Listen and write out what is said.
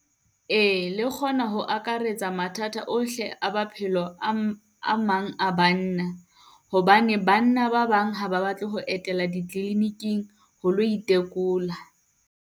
Ee, le kgona ho akaretsa mathata ohle a baphelo a, a mang banna. Hobane banna ba bang ha ba batle ho etela di-clinic-ing ho lo itekola.